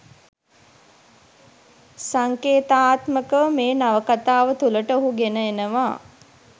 සංකේතාත්මකව මේ නවකතාව තුළට ඔහු ගෙන එනවා